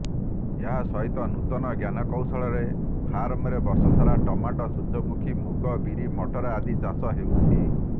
ଏହା ସହିତ ନୂତନ ଜ୍ଞାନକୌଶଳରେ ଫାର୍ମରେ ବର୍ଷସାରା ଟମାଟୋ ସୂର୍ଯ୍ୟମୁଖି ମୁଗ ବିରି ମଟର ଆଦି ଚାଷ ହେଉଛି